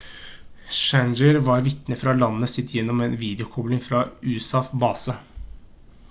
schneider var vitne fra landet sitt gjennom en videokobling fra en usaf-base